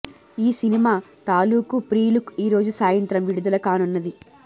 ఈ సినిమా తాలుకూ pre look ఈరోజు సాయంత్రం విడుదల కానున్నది